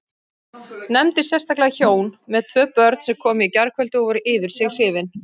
Nefndi sérstaklega hjón með tvö börn sem komu í gærkvöldi og voru yfir sig hrifin.